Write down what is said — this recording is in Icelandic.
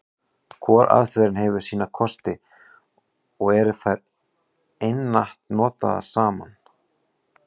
Hvor aðferðin hefur sína kosti, og eru þær einatt notaðar saman.